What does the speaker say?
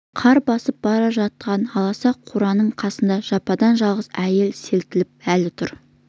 қар басып бара жатқан аласа қораның қасында жападан-жалғыз әйел селтиіп әлі тұр